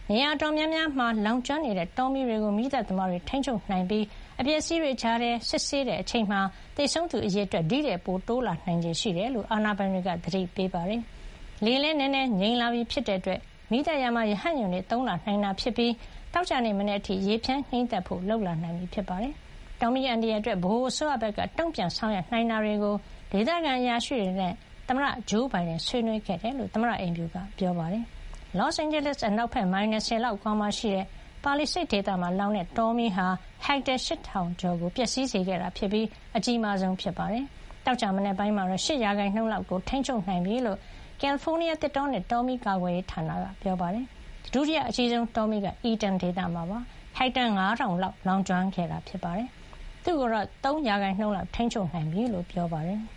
နေရာ အတော်များများ မှာလောင်ကျွမ်းနေတဲ့ တောမီးတွေကို မီးသတ်သမားတွေ ထိန်းချုပ်နိုင်ပြီး၊ အပျက်အစီးတွေကြားထဲ စစ်ဆေးတဲ့အချိန်မှာတော့ သေဆုံးသူ အရေအတွက် တိုးလာ နိုင်ခြေရှိတယ်လို့လည်း အာဏာပိုင်တွေက သတိပေးထားပါတယ်။ လေလည်း နည်းနည်း ငြိမ်လာပြီ ဖြစ်တဲ့ အတွက် မီးသတ်ရာမှာ ရဟတ်ယာဉ်တွေ သုံးလာနိုင်တာဖြစ်ပြီး သောကြာနေ့ မနက်အထိ ရေဖြန်း ငြှိမ်းသတ်ဖို့ လုပ်လာနိုင်ပြီ ဖြစ်ပါတယ်။ တောမီးအန္တရာယ် အတွက် ဗဟိုအစိုးရဘက်က တုံ့ပြန်ဆောင်ရွက်နိုင်တာတွေကို ဒေသခံ အရာရှိတွေနဲ့ သမ္မတဂျိုးဘိုင်ဒန် ဆွေးနွေးခဲ့တယ်လို့ သမ္မတအိမ်ဖြူတော်က ပြောပါတယ်။ လော့စ်အိန်ဂျလိစ် (Los Angeles) အနောက်ဘက် မိုင် ၂၀ လောက်အကွာမှာရှိတဲ့ Palisades ဒေသမှာ လောင်တဲ့ တောမီးဟာ ဟက်တာ ၈,၀၀၀ ကျော် ကို ပျက်စီးစေခဲ့ပြီး အကြီးမားဆုံးလည်း ဖြစ်ပါတယ်။ သောကြာမနက်ပိုင်းမှာတော့ ၈ % လောက်ကို ထိန်းချုပ် နိုင်ပြီလို့ ကယ်လီဖိုးနီးယား သစ်တောနဲ့ တောမီးကာကွယ်ရေး ဌာန ပြောပါတယ်။ ဒုတိယ အကြီးဆုံး တောမီးကတော့ Eaton မှာ ဖြစ်ပြီး ဟက်တာ ၅၀၀၀ လောက်လောင်ကျွမ်းခဲ့တာပါ။ အခု သူ့ကို ၃ % လောက်တော့ ထိန်းချုပ်နိုင်ပြီလို့ ပြောပါတယ်